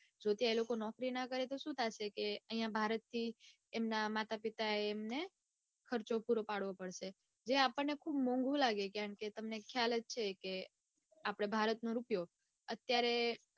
જો ત્યાં એ લોકો નોકરી ના કરે તો સુ થશે અઇયા ભારત થી એમના માતા પિતા એ એમને ખર્ચો પૂરો પડવો પડશે જે આપણને મોંઘુ લાગે કારણકે તમને ખ્યાલ જ છે કે આપડા ભારતનો રૂપિયો અત્યારે